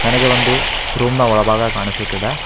ನನಗೆ ಒಂದು ರೂಮ್ ನ ಒಳಭಾಗ ಕಾಣಿಸುತ್ತಿದೆ.